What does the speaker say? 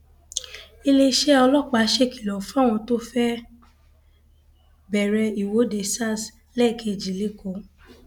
iléeṣẹ ọlọpàá ṣèkìlọ fáwọn tó fẹẹ bẹrẹ ìwọde sars lẹẹkejì lẹkọọ